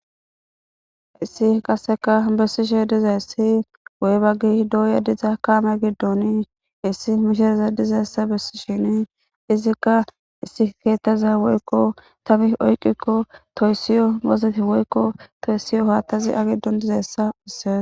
Haysasi qasseka bessishe diza yssi woybaggi dooya diza kaame giddoni issi mishiraza dizayssa bessi shini izikka issi keettaza woykko tabi oyqikko toyssiyo mozeti woykko toyssiyo hoattazi agidon dizassa isse